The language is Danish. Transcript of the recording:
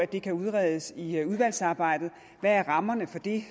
det kan udredes i udvalgsarbejdet hvad rammerne er for det